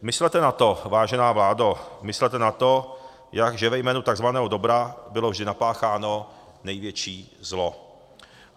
Myslete na to, vážená vládo, myslete na to, že ve jménu takzvaného dobra bylo vždy napácháno největší zlo.